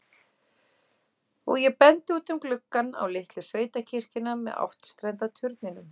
Og ég bendi út um gluggann, á litlu sveitakirkjuna með áttstrenda turninum.